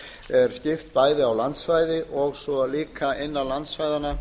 er skipt bæði á landsvæði og svo líka innan landsvæðanna